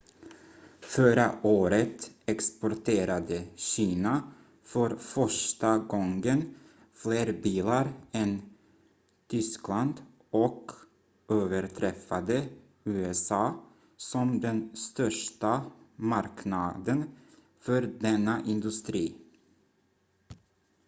förra året exporterade kina för första gången fler bilar än tyskland och överträffade usa som den största marknaden för denna industri